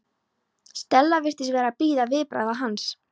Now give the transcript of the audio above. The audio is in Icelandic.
Stella virtist vera að bíða viðbragða hans.